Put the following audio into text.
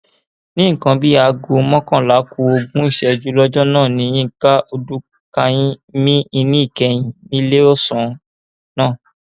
ní nǹkan bíi aago mọkànlá ku ogún ìṣẹjú lọjọ náà ni yinka ọdùkàyìn mi ìní ìkẹyìn níléeọsán náà